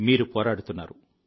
మీరు పోరాడుతున్నారు